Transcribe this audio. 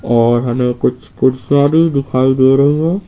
और हमें कुछ कुर्सियां भी दिखायी दे रही है।